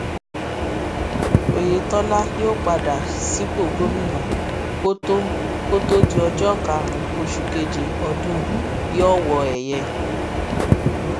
oyetola yóò padà sípò gómìnà kó tóó kó tóó di ọjọ karùnún oṣù keje ọdún yìíọwọẹyẹ